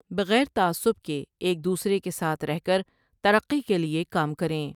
بغیر تعصب کے ایک دوسرے کے ساتھ رہ کر ترقی کے لٸے کام کریں ۔